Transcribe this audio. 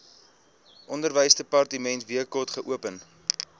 onderwysdepartement wkod geopen